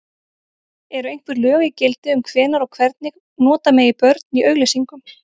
Eru einhver lög í gildi um hvenær og hvernig nota megi börn í auglýsingum?